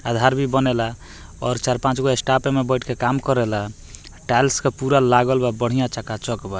आधार भी बनेला और चार-पांचगो स्टाफ एमे बैठ के काम करेला टाइल्स के पूरा लागल बा बढ़िया चका-चक बा।